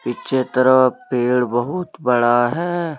पीछे तरफ पेड़ बहुत बड़ा है।